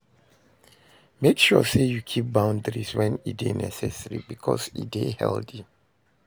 Make sure say you keep boundaries when e de necessary because e de healthy